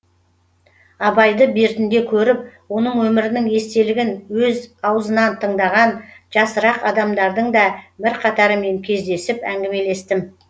абайды бертінде көріп оның өмірінің естелігін өз аузынан тыңдаған жасырақ адамдардың да бірқатарымен кездесіп әңгімелестім